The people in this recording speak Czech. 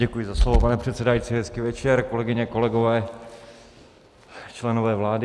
Děkuji za slovo, pane předsedající, hezký večer, kolegyně, kolegové, členové vlády.